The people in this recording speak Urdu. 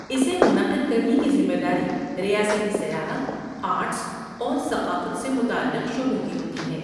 اسے منعقد کرنے کی ذمے داری ریاستی سیاحت، آرٹس اور ثقافت سے متعلق شعبوں کی ہوتی ہے۔